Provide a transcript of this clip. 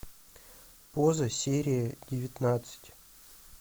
поза серия девятнадцать